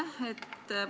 Aitäh!